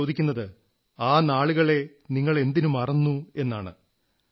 ഞാൻ ചോദിക്കുന്നത് ആ നാളുകളെ നിങ്ങൾ എന്തിനു മറന്നു എന്നാണ്